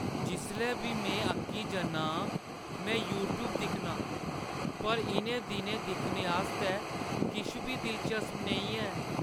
जिसलै बी में अक्की जन्ना आं, में यूट्‌यूब दिक्खनां। पर इʼनें दिनैं दिक्खने आस्तै किश बी दिलचस्प नेईं है।